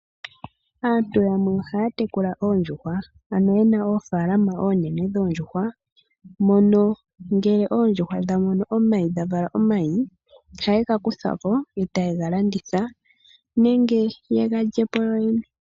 Aantu yamwe ohaya tekula oondjuhwa ye na moofalama oonene nuuna oondjuhwa dha vala omayi ohaye gakuthapo nokuga landithapo.